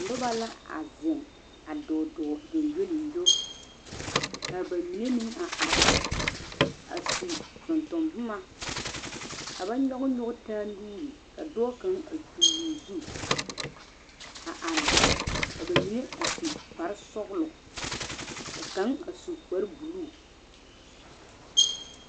noba la a zeng a dɔɔdɔɔ gyongyolingyo ka ba mine meng a are are a su tontomboma ka ba nyɔge nyɔge taa nuuri ka dɔɔ kanga a kyul o zu a are ka ba mine a su kpare sɔglɔ ka kanga a su kpare buluu